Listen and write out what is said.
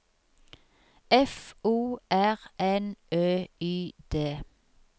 F O R N Ø Y D